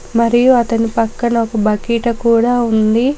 మరియు అతని పక్కన ఒక బకెట్ కూడా ఉంది.